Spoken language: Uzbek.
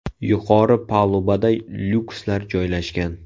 Yuqori palubada lyukslar joylashgan.